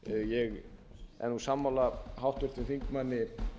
ég er sammála háttvirtum þingmanni